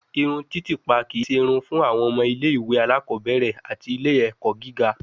Irun titipa kii ṣe irun fun awọn ọmọ ile-iwe alakọbẹrẹ ati ile-ẹkọ giga